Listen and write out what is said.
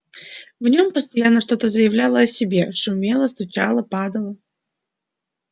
в нем постоянно что-то заявляло о себе шумело стучало падало